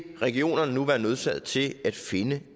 regionerne nu være nødsaget til at finde